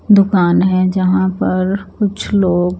दूकान है जहाँ पर कुछ लोग--